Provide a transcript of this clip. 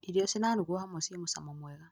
Irio cirarugwo hamwe ci mũcamo mwega.